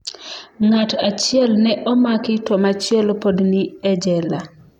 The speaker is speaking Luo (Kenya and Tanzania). Ng’at achiel ne omaki to machielo pod ni e jela.